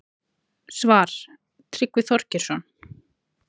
Svar: Tryggvi Þorgeirsson